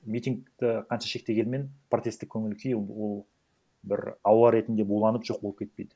митингті қанша шектегенімен протесттік көңіл күй ол бір ауа ретінде буланып жоқ болып кетпейді